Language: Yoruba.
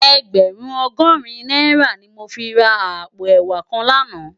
Ègbèrún ògòrín nàirá ni mó fi rá àpó èwá kán làná